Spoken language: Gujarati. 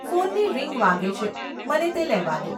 ફોનની રિંગ વાગે છે, મને તે લેવા દો.